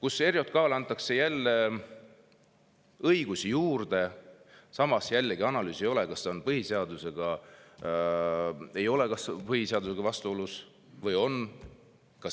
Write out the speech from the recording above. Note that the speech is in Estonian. ERJK‑le antakse jälle õigusi juurde, samas ei ole analüüsitud, kas see on põhiseadusega vastuolus või ei ole.